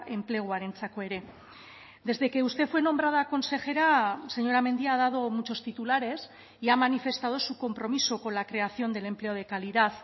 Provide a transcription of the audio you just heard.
enpleguarentzako ere desde que usted fue nombrada consejera señora mendia ha dado muchos titulares y ha manifestado su compromiso con la creación del empleo de calidad